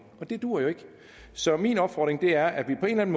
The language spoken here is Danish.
og det duer jo ikke så min opfordring er at vi på en